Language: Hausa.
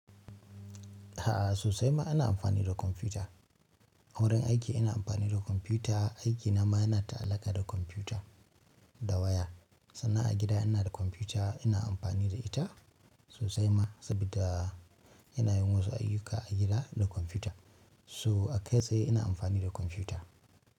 A'a sosai ma ana amfani da kwamfuta. A wurin aiki ina amfani da kwamfuta, aikina ma yana ta'allaka da kwamfuta da waya. Sannan a gida ina da kwamfuta ina amfani da ita sosai ma saboda ina yin wasu ayyuka a gida da kwamfuta. Toh a kai tsaye ina amfani da kwamfuta.